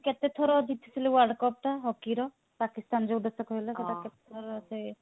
କେତେଥର ଜିତିଥିଲେ world cup ଟା hockey ର ପାକିସ୍ତାନ ଯଉ ଦେଶ କହିଲ ସେଟା କେତେ ଥର ସେ